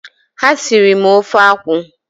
Ha sịrị m ofe akwụ